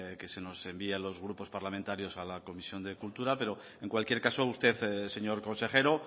que se nos envíe a los grupos parlamentarios a la comisión de cultura pero en cualquier caso usted señor consejero